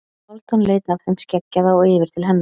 Hálfdán leit af þeim skeggjaða og yfir til hennar.